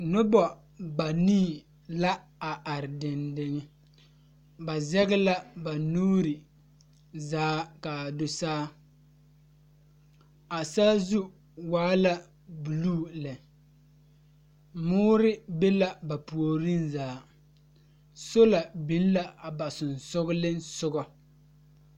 Nobɔ banii la are dendeŋe. Ba zɛge la ba nuuri zaa kaa do saa. A saazu waa la buluu lɛ, moore be la ba puoriŋ zaa. Sola biŋ la a ba sonsoglensogɔ.